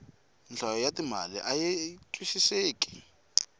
nhlayo ya timali ayi twisiseki